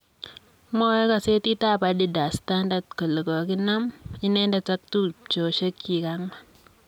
Mwoe gosetit ab Addis Standard kole koginam inendet ak tuchosiek chig' ang'wan.